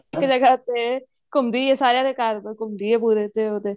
ਹਰੇਕ ਜਗ੍ਹਾ ਤੇ ਘੁੰਮਦੀ ਏ ਸਾਰਿਆਂ ਦੇ ਘਰ ਘੁੰਮਦੀ ਏ ਪੂਰੇ ਤੇ ਉਹ ਤੇ